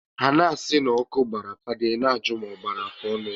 Ha na-asị na ọkụ gbara fada I na-ajụ ma ọ gbara afụọnụ ya.